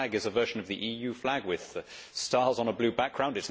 Its flag is a version of the EU flag with stars on a blue background